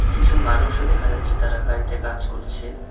কিছু মানুষও দেখা যাচ্ছে তারা গাড়িতে কাজ করছে।